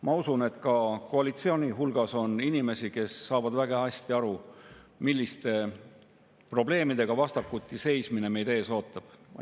Ma usun, et ka koalitsiooni hulgas on inimesi, kes saavad väga hästi aru, milliste probleemidega vastakuti seismine meid ees ootab.